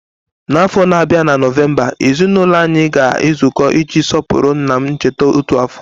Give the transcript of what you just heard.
N'afọ na-abịa na Nọvemba, ezinụlọ anyị ga-ezukọ iji sọpụrụ nna m ncheta otu afọ.